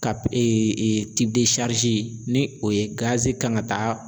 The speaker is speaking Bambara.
Ka ni o ye gazi kan ka taa